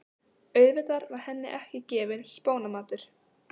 Auðvitað var henni ekki gefinn spónamatur.